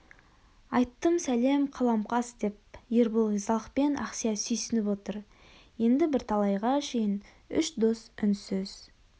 айттым сәлем қалам қас деп ербол ризалықпен ақсия сүйсініп отыр енді бірталайға шейін үш дос үнсіз